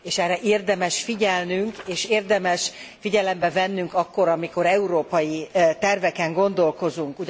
És erre érdemes figyelnünk és érdemes figyelembe vennünk akkor, amikor európai terveken gondolkozunk.